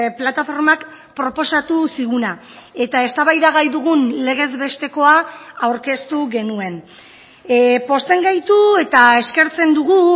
plataformak proposatu ziguna eta eztabaidagai dugun legez bestekoa aurkeztu genuen pozten gaitu eta eskertzen dugu